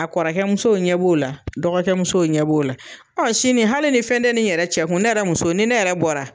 A kɔrɔkɛ musow ɲɛ b'o la dɔgɔkɛ musow ɲɛ b'o la ɔ sini hali ne fɛn te ni yɛrɛ cɛ kun ne yɛrɛ muso ni ne yɛrɛ bɔra